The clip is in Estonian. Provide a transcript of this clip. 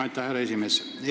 Aitäh, härra esimees!